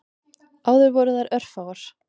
Áður voru þær örfáar.